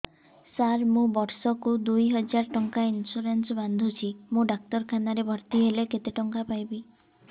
ସାର ମୁ ବର୍ଷ କୁ ଦୁଇ ହଜାର ଟଙ୍କା ଇନ୍ସୁରେନ୍ସ ବାନ୍ଧୁଛି ମୁ ଡାକ୍ତରଖାନା ରେ ଭର୍ତ୍ତିହେଲେ କେତେଟଙ୍କା ପାଇବି